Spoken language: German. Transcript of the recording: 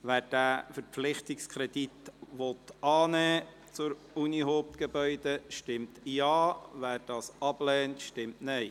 Wer diesen Verpflichtungskredit annehmen will, stimmt Ja, wer ihn ablehnt, stimmt Nein.